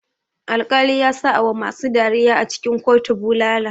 Alkali yasa awa masu dariya a cikin kotu bulala.